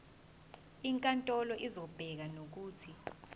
inkantolo izobeka nokuthi